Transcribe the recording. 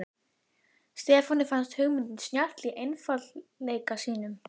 Stefáni fannst hugmyndin snjöll í einfaldleika sínum.